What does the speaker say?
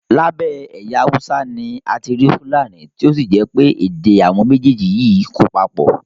Lábẹ́ ẹ̀yà Haúsá ni a ti rí fúlàní tí ó sì jẹ́ pé èdè àwọn méjèèjì yìí kò papọ̀